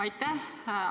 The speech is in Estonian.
Aitäh!